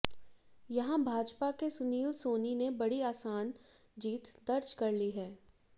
यहां भाजपा के सुनील सोनी ने बड़ी आसान जीत दर्ज कर ली है